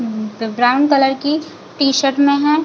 उम्म brown colour की T-shirt में है।